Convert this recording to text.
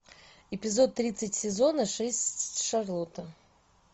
эпизод тридцать сезона шесть шарлотта